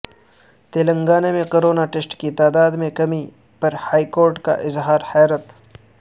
تلنگانہ میں corona test کی تعداد میں کمی پر ہائیکورٹ کا اظہار حیرت